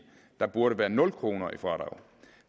der burde være nul kroner i fradrag